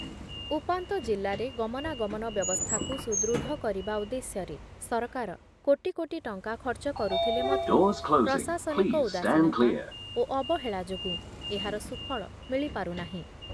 ଉପାନ୍ତ ଜିଲ୍ଲାରେ ଗମନାଗମନ ବ୍ୟବସ୍ଥାକୁ ସୁଦୃଢ଼ କରିବା ଉଦ୍ଦେଶ୍ୟରେ ସରକାର କୋଟିକୋଟି ଟଙ୍କା ଖର୍ଚ୍ଚ କରୁଥିଲେ ମଧ୍ୟ ପ୍ରଶାସନିକ ଉଦାସୀନତା ଓ ଅବହେଳା ଯୋଗୁଁ ଏହାର ସୁଫଳ ମିଳିପାରୁ ନାହିଁ ।